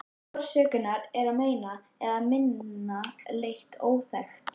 Orsök hennar er að meira eða minna leyti óþekkt.